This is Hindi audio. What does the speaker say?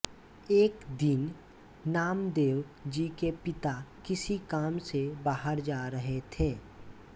एक दिन नामदेव जी के पिता किसी काम से बाहर जा रहे थे